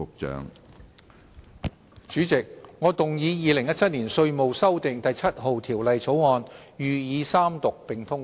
主席，我動議《2017年稅務條例草案》予以三讀並通過。